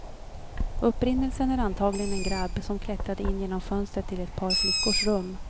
Upprinnelsen är antagligen en grabb som klättrade in genom fönstret till ett par flickors rum.